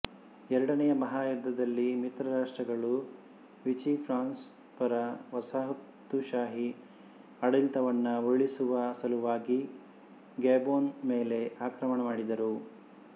ಎರಡನೆಯ ಮಹಾಯುದ್ಧದಲ್ಲಿ ಮಿತ್ರರಾಷ್ಟ್ರಗಳು ವಿಚಿ ಫ್ರಾನ್ಸ್ ಪರ ವಸಾಹತುಶಾಹಿ ಆಡಳಿತವನ್ನು ಉರುಳಿಸುವ ಸಲುವಾಗಿ ಗ್ಯಾಬೊನ್ ಮೇಲೆ ಆಕ್ರಮಣ ಮಾಡಿದರು